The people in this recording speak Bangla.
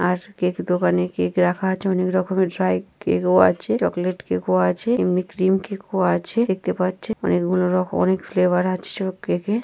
আর কেকের দোকানে কেক রাখা আছে অনেক রকমের ড্রাই কেক ও আছে চকলেট কেক ও আছে এমনি ক্রিম কেক ও আছে দেখতে পাচ্ছে অনেকগুলো রক অনেক ফ্লেভার আছে কেকে --